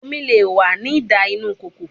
Omi le wa ni dà inu ikoko